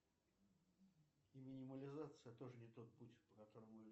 хорошие у вас нервы ничего сказать не могу молодец